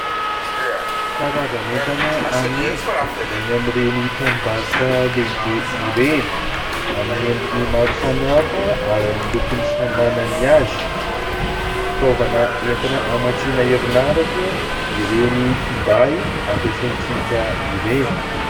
Karazan'entana amidy eny amin'ireny tranombarotra lehibe ireny. Amin'ny endriny maro samihafa ary amin'ny lokony samy manana ny azy. Fitaovana entina hamatsiana erinaratra ireny finday ampiasaintsika ireny.